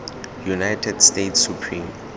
united states supreme